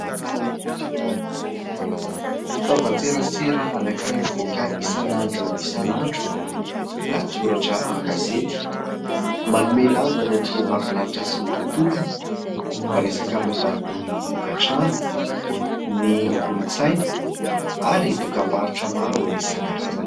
Fitaovan-tserasera anankiray mivoaka isan'andro isan'andro, lahatsoratra an-gazety manome lanja ny andriambavilanitra sy ny tontolony, miresaka momba ny tokantrano, ny kolontsaina ary dokam-barotra maro isan-karazany.